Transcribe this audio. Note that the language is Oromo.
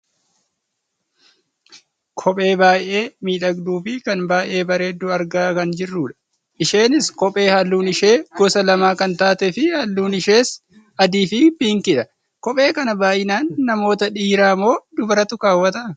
Kophee baayyee miidhagduufi kan baayyee bareeddu argaa kan jirrudha. Isheenis kophee halluun ishee gosa lama kan taate fi halluun ishees adii fi piinkiidha. Kophee kana baayyinana namoota dhiiraamoo dubaraatu kaawwata?